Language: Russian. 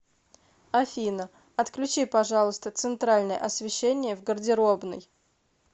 афина отключи пожалуйста центральное освещение в гардеробной